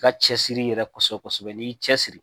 I ka cɛsiri yɛrɛ kosɛbɛ kosɛbɛ n'i y'i cɛsiri